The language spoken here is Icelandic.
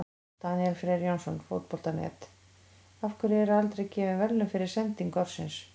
Daníel Freyr Jónsson, Fótbolta.net: Af hverju eru aldrei gefin verðlaun fyrir sendingu ársins?